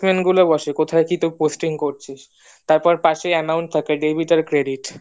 গুলো বসে কোথায় কি তোর posting করছিস তারপর পাশেই amountlangg:Eng থাকে debit আর credit